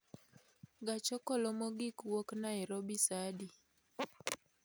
Gach okolo mogik wuok nairobi saa adi